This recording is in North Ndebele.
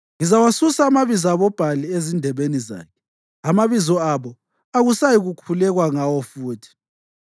Ngizawasusa amabizo aboBhali ezindebeni zakhe; amabizo abo akusayikukhulekwa ngawo futhi.